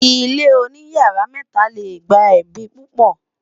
ilé oní yàrá mẹta lẹ gbà ẹbi pupo